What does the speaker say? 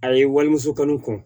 A ye walimuso kanu kɔ